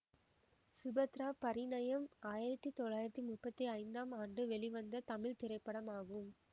சுபத்ரா பரிணயம் ஆயிரத்தி தொள்ளாயிரத்தி முப்பத்தி ஐந்தாம் ஆண்டு வெளிவந்த தமிழ் திரைப்படமாகும்